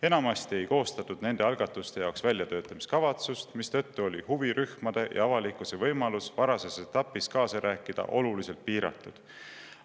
Enamasti ei koostatud nende algatuste jaoks väljatöötamiskavatsust, mistõttu oli huvirühmade ja avalikkuse võimalus varases etapis kaasa rääkida oluliselt piiratud.